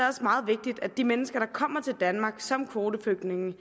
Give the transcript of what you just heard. også meget vigtigt at de mennesker der kommer til danmark som kvoteflygtninge